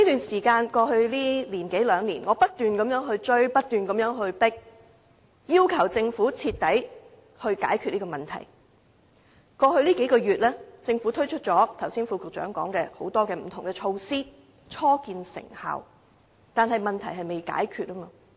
在過去一兩年間，我不斷追迫政府要徹底解決問題，而在過去數個月，正如副局長剛才所說，政府已推出多項不同措施，初見成效，但問題仍未被解決。